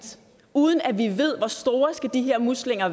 uden at vi ved hvor store de her muslinger